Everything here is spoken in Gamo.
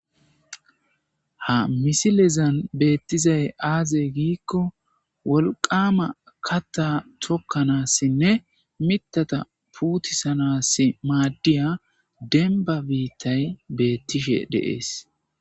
Ha misilezan beetizay aaze gikko wolqama katta tokanasinine mitata puutisanasi madiya denba biitay beetishe de'es.